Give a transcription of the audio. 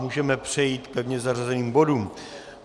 Můžeme přejít k pevně zařazeným bodům.